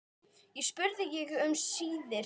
spurði ég um síðir.